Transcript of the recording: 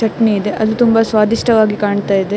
ಚಟ್ನಿ ಇದೆ ಅದು ತುಂಬಾ ಸ್ವಾದಿಷ್ಟವಾಗಿ ಕಾಣ್ತಾ ಇದೆ.